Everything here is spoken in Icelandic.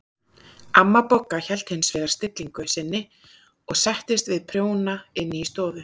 Amma Bogga hélt hins vegar stillingu sinni og settist við prjóna inn í stofu.